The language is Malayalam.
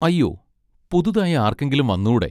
അയ്യോ, പുതുതായി ആർക്കെങ്കിലും വന്നൂടെ